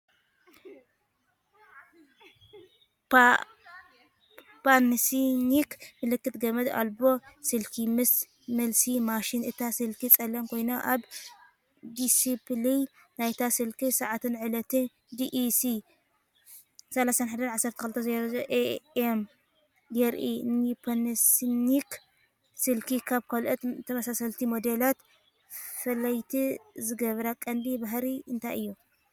ፓናሶኒክ ምልክት ገመድ ኣልቦ ስልኪ ምስ መልሲ ማሽን። እታ ስልኪ ጸላም ኮይና፡ ኣብ ዲስፕለይ ናይታ ስልኪ ሰዓትን ዕለትን (Dec. 31, 12:00AM) የርኢ። ንፓናሶኒክ ስልኪ ካብ ካልኦት ተመሳሰልቲ ሞዴላት ፍልይቲ ዝገብራ ቀንዲ ባህሪ እንታይ እዩ?